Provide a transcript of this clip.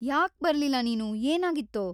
ಯಾಕ್‌ ಬರ್ಲಿಲ್ಲ ನೀನು? ಏನಾಗಿತ್ತು?